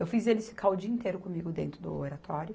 Eu fiz eles ficar o dia inteiro comigo dentro do Oratório.